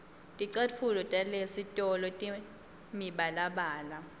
ticatfulo talesitolo tinemibalabala